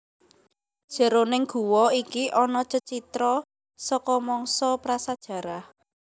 Jeroning guwa iki ana cecitra saka mangsa prasajarah